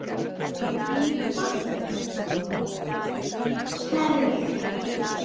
Einfalt kerfi.